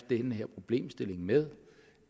den her problemstilling med